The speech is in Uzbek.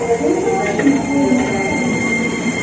U maoshini oylab kutadigan bo‘ldi.